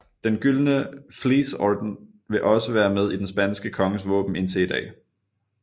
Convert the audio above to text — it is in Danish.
Den gyldne Vlies Orden vil være med i den spanske konges våben indtil i dag